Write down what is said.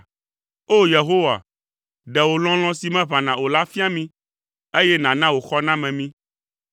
O! Yehowa, ɖe wò lɔlɔ̃ si meʋãna o la fia mí, eye nàna wò xɔname mí.